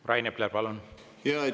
Rain Epler, palun!